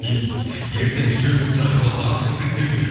ертең үшеуімізді шақырып алса ал концерт беріңдер